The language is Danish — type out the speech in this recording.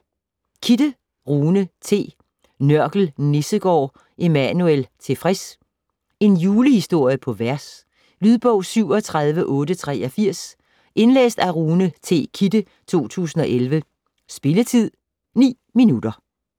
Kidde, Rune T.: Nørkel Nissegård Emmanuel Tilfreds En julehistorie på vers. Lydbog 37883 Indlæst af Rune T. Kidde, 2011. Spilletid: 0 timer, 9 minutter.